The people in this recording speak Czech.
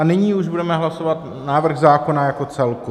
A nyní už budeme hlasovat návrh zákona jako celek.